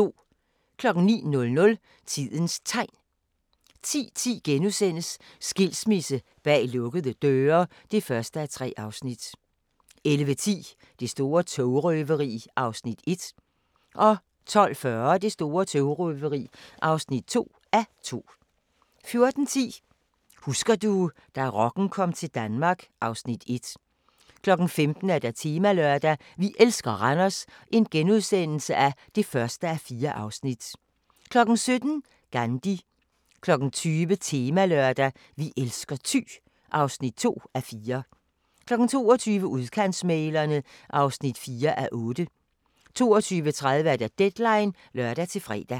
09:00: Tidens Tegn 10:10: Skilsmisse bag lukkede døre (1:3)* 11:10: Det store togrøveri (1:2) 12:40: Det store togrøveri (2:2) 14:10: Husker du – da rocken kom til Danmark (Afs. 1) 15:00: Temalørdag: Vi elsker Randers (1:4)* 17:00: Gandhi 20:00: Temalørdag: Vi elsker Thy (2:4) 22:00: Udkantsmæglerne (4:8) 22:30: Deadline (lør-fre)